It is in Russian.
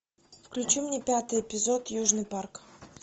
включи мне пятый эпизод южный парк